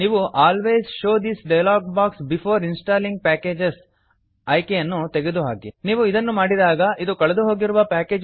ನೀವು always show this dialog before installing packages always show this dialog before installing package ಅಯ್ಕೆಯನ್ನು ತೆಗೆದುಹಾಕಿ